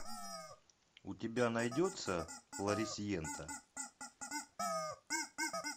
у тебя найдется флорисьента